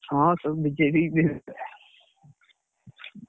ହଁ, ସବୁ BJP କି